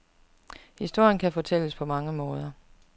Historien kan fortælles på mange måder.